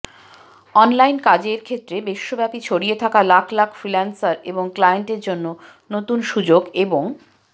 অনলাইনে কাজের ক্ষেত্রে বিশ্বব্যাপী ছড়িয়ে থাকা লাখ লাখ ফ্রিল্যান্সার এবং ক্লায়েন্টের জন্য নতুন সুযোগ এবং